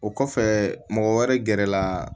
O kɔfɛ mɔgɔ wɛrɛ gɛrɛ la